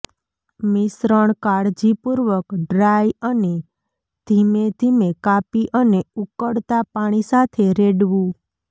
મિશ્રણ કાળજીપૂર્વક ડ્રાય અને ધીમેધીમે કાપી અને ઉકળતા પાણી સાથે રેડવું